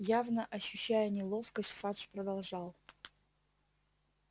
явно ощущая неловкость фадж продолжал